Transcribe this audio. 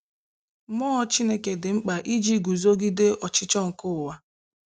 Mmụọ Chineke dị mkpa iji guzogide ọchịchọ nke ụwa.